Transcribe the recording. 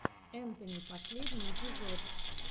энтони последний эпизод